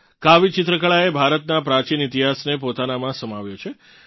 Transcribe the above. કાવી ચિત્રકળાએ ભારતનાં પ્રાચીન ઇતિહાસને પોતાનાંમાં સમાવ્યો છે